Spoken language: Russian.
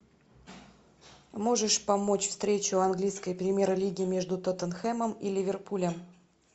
можешь помочь встречу английской премьер лиги между тоттенхэмом и ливерпулем